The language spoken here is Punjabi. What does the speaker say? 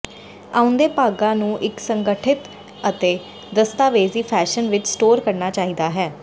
ਆਉਂਦੇ ਭਾਗਾਂ ਨੂੰ ਇੱਕ ਸੰਗਠਿਤ ਅਤੇ ਦਸਤਾਵੇਜ਼ੀ ਫੈਸ਼ਨ ਵਿੱਚ ਸਟੋਰ ਕਰਨਾ ਚਾਹੀਦਾ ਹੈ